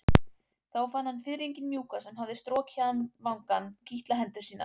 Þá fann hann fiðringinn mjúka sem strokið hafði vangann kitla hendur sínar.